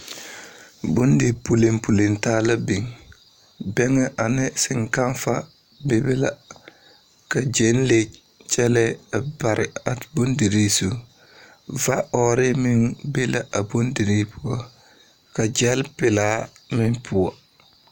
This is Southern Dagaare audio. Bondipulipuli taa la biŋ. Bɛŋɛ ane seŋkafa bebe la, ka Gyɛlee kyɛlɛɛ a bare a Bondirii zu. Vaɔɔre meŋ be la a Bondirii poɔ, ka gyɛlpelaa meŋ poɔ.